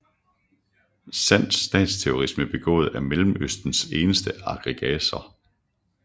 Sand statsterrorisme begået af Mellemøstens eneste aggressor